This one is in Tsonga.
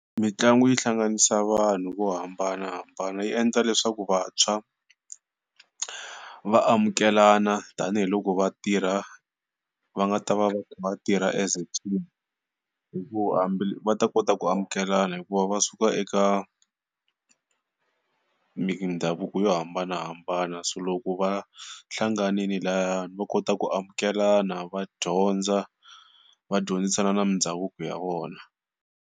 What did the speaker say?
Mitlangu yi hlanganisa vanhu vo hambanahambana, yi endla leswaku vantshwa vaamukelana tanihiloko vatirha, va nga ta va vatirha as a team, hi ku va ta kota ku amukelana hikuva va suka eka mindhavuko yo hambanahambana. So loko va hlanganile layani va kota ku amukelana va dyondza, vadyondzisa na mindhavuko ya vona.